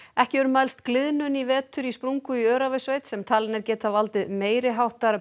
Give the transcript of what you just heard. ekki hefur mælst gliðnun í vetur í sprungu í Öræfasveit sem talin er geta valdið meiri háttar